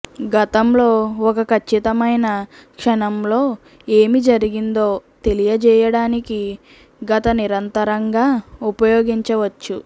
గతంలో ఒక ఖచ్చితమైన క్షణంలో ఏమి జరిగిందో తెలియజేయడానికి గత నిరంతరంగా ఉపయోగించవచ్చు